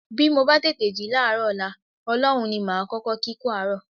Bí mo bá tètè jí láàárọ̀ ọ̀la, Ọlọ́run ní màá kọ́kọ́ kí kú àárọ̀